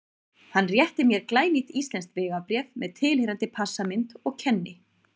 Hann réttir mér glænýtt íslenskt vegabréf með tilheyrandi passamynd og kenni